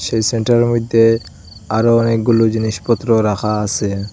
সেই সেন্টার -এর মইধ্যে আরও অনেকগুলো জিনিসপত্র রাখা আসে।